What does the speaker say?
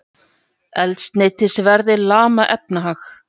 Eldsneytisverðið lamar efnahag